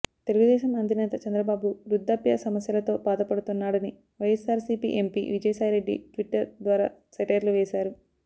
తెలుగుదేశం అధినేత చంద్రబాబు వృద్ధ్యాప్య సమస్యలతో బాధపడుతున్నాడని వైఎస్సార్సీపీ ఎంపీ విజయసాయిరెడ్డి ట్విట్టర్ ద్వారా సెటైర్లు వేశారు